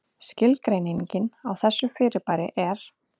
Skilgreining á þessu fyrirbæri er: